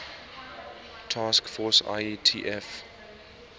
task force ietf